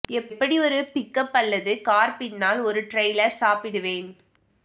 எப்படி ஒரு pickup அல்லது கார் பின்னால் ஒரு டிரெய்லர் சாப்பிடுவேன்